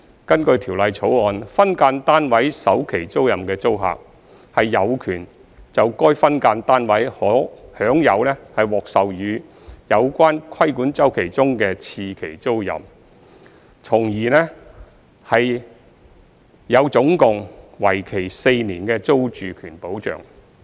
根據《條例草案》，分間單位首期租賃的租客，有權就該分間單位享有獲授予有關規管周期中的次期租賃，從而有總共為期4年的租住權保障。